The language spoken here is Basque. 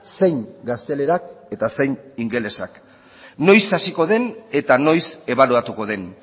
zein gaztelerak eta zein ingelesak noiz hasiko den eta noiz ebaluatuko den